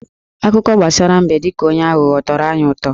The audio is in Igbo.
Akụkọ gbasara mbe dị ka onye aghụghọ tọrọ anyị utọ.